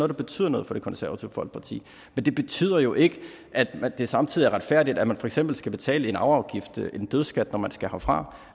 der betyder noget for det konservative folkeparti men det betyder jo ikke at det samtidig er retfærdigt at man for eksempel skal betale en arveafgift en dødsskat når man skal herfra